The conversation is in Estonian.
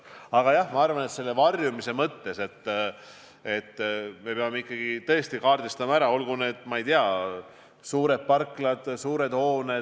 Aga jah, ma arvan, et varjumise mõttes me peame tõesti kaardistama ära, ma ei tea, suured parklad, suured hooned.